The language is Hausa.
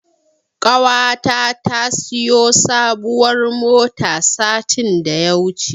Ƙawata ta siyo sabuwar mota satin da ya wuce.